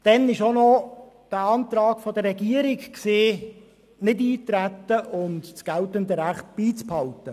Dann gab es auch noch den Antrag der Regierung, nicht einzutreten und das geltende Recht beizubehalten.